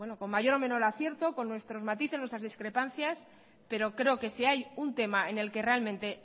con mayor o menor acierto con nuestros matices nuestras discrepancias pero creo que si hay un tema en el que realmente